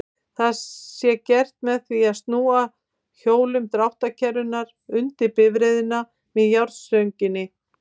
Það sé gert með því að snúa hjólum dráttarkerrunnar undir bifreiðina með járnstönginni.